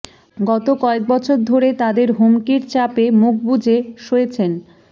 গত কয়েক বছর ধরে তাদের হুমকির চাপে মুখ বুজে সয়েছেন